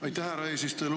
Aitäh, härra eesistuja!